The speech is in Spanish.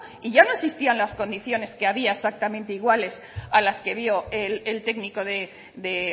y ya no existían las condiciones que había exactamente iguales a las que vio el técnico de